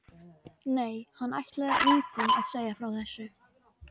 Nei, hann ætlaði engum að segja frá þessu.